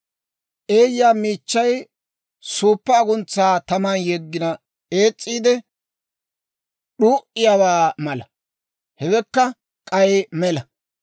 Eeyyaa miichchay, suuppa aguntsaa taman yeggina ees's'iidde d'uu'iyaawaa mala. Hewekka k'ay mela.